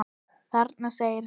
Þarna! segir hann.